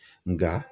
Nka